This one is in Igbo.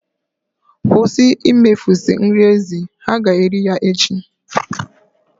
Kwụsị imefusị nri ezi. Ha ga-eri ya echi.